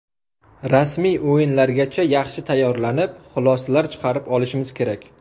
Rasmiy o‘yinlargacha yaxshi tayyorlanib, xulosalar chiqarib olishimiz kerak.